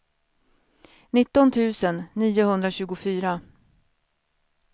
nitton tusen niohundratjugofyra